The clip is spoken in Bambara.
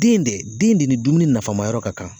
Den de den de ni dumuni nafamayɔrɔ ka kan